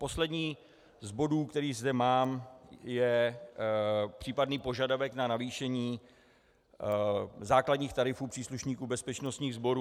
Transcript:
Poslední z bodů, který zde mám, je případný požadavek na zvýšení základních tarifů příslušníků bezpečnostních sborů.